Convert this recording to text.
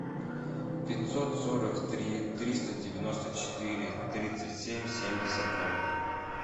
пятьсот сорок три триста девяносто четыре тридцать семь семьдесят ноль